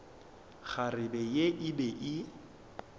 kgarebe ye e be e